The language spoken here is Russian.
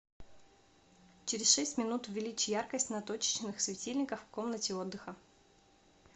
через шесть минут увеличь яркость на точечных светильниках в комнате отдыха